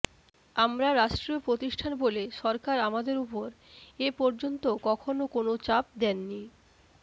আমরা রাষ্ট্রীয় প্রতিষ্ঠান বলে সরকার আমাদের ওপর এ পর্যন্ত কখনো কোনো চাপ দেননি